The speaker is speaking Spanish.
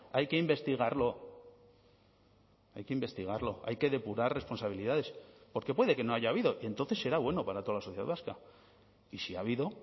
hay que investigarlo hay que investigarlo hay que depurar responsabilidades porque puede que no haya habido y entonces será bueno para toda la sociedad vasca y si ha habido